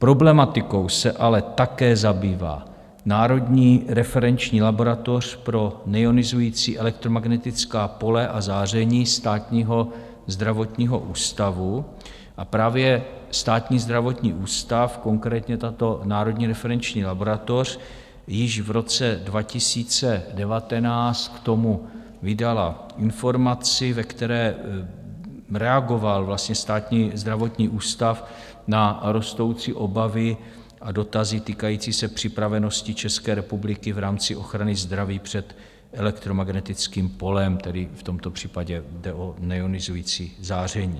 Problematikou se ale také zabývá Národní referenční laboratoř pro neionizující elektromagnetická pole a záření Státního zdravotního ústavu a právě Státní zdravotní ústav, konkrétně tato Národní referenční laboratoř, již v roce 2019 k tomu vydala informaci, ve které reagoval vlastně Státní zdravotní ústav na rostoucí obavy a dotazy týkající se připravenosti České republiky v rámci ochrany zdraví před elektromagnetickým polem, tedy v tomto případě jde o neionizující záření.